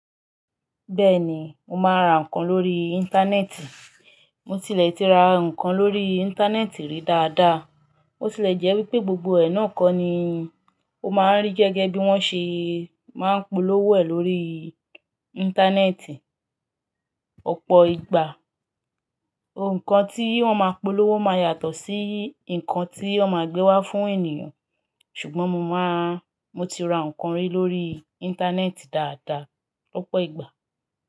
Bẹ́ẹ̀ ni, mo máa ra nǹkan lóri íńtánẹ́ẹ̀tì. Mo tilẹ̀ ti ra nǹkan lóri íńtánẹ́ẹ̀tì rí dáadáa. Mo tilẹ̀ jẹ́ wípé gbogbo ẹ̀ náà kọ́ ni ó máa ń rí gẹ́gẹ́ bí wọ́n ṣe máa ń polówó ẹ̀ lórí íńtánẹ́ẹ̀tì ọ̀pọ̀ ìgbà. Nǹkan tí wọ́n ma polówó máa yàtọ̀ sí nǹkan tí wọ́n ma gbé wá fún ènìyàn. Ṣùgbọ́n mo máa, mo ti ra nǹkan rí lórí íńtánẹ́ẹ̀tì dáadáa lọ́pọ̀ ìgbà.